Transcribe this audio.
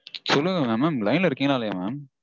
சொல்லுங்க mam mam line -ல இருக்கீங்களா இல்லையா mam?